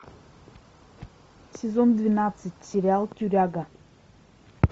сезон двенадцать сериал тюряга